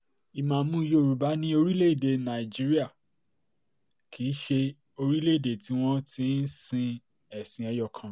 ìmàámu yorùbá ní orílẹ̀-èdè nàìjíríà kì í ṣe orílẹ̀-èdè tí wọ́n ti ń sin ẹ̀sìn ẹyọ kan